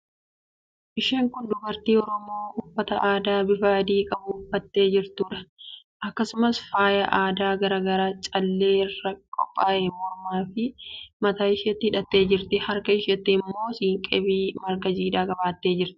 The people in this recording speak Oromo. Isheen kun dubartii Oromoo uffata aadaa bifa adi qabu uffattee jirtuudha. Akkasumas faayaa aadaa garaa garaa callee irraa qophee'e mormaafi mataa isheetti hidhattee jirti. Harka isheetti immoo siinqeefi marga jiidhaa baattee jirti.